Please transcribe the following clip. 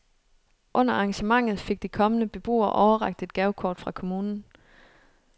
Under arrangementet fik de kommende beboere overrakt et gavekort fra kommunen.